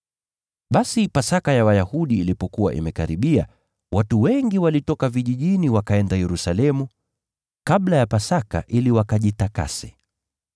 Basi Pasaka ya Wayahudi ilipokuwa imekaribia, watu wengi walitoka vijijini wakaenda Yerusalemu kabla ya Pasaka ili wakajitakase.